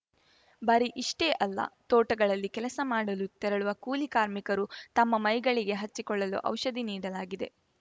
ಬರೀ ಇಷ್ಟೆಅಲ್ಲ ತೋಟಗಳಲ್ಲಿ ಕೆಲಸ ಮಾಡಲು ತೆರಳುವ ಕೂಲಿ ಕಾರ್ಮಿಕರು ತಮ್ಮ ಮೈಗಳಿಗೆ ಹಚ್ಚಿಕೊಳ್ಳಲು ಔಷಧಿ ನೀಡಲಾಗಿದೆ